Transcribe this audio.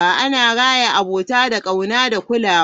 Ana raya abota da ƙauna da kulawa.